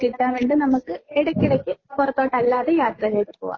കിട്ടാൻ വേണ്ടി നമുക്ക് ഇടക്കിടക്ക് പുറത്തോട്ട് അല്ലാതെ യാത്ര ചെയ്തു പോവാം.